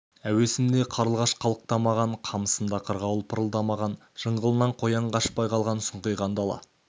әуесінде қарлығаш қалықтамаған қамысында қырғауыл пырылдамаған жыңғылынан қоян қашпай қалған сұңқиған дала